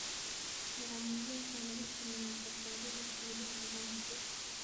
Guacamole waxa laga sameeyaa avokado la shiiday iyo uunsi.